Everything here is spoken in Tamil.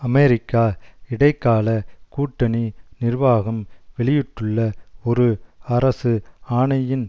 அமெரிக்கா இடைக்கால கூட்டணி நிர்வாகம் வெளியிட்டுள்ள ஒரு அரசு ஆணையின்